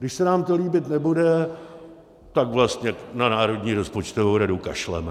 Když se nám to líbit nebude, tak vlastně na Národní rozpočtovou radu kašleme.